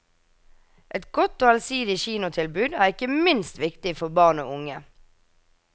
Et godt og allsidig kinotilbud er ikke minst viktig for barn og unge.